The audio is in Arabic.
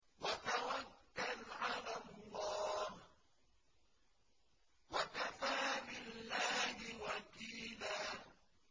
وَتَوَكَّلْ عَلَى اللَّهِ ۚ وَكَفَىٰ بِاللَّهِ وَكِيلًا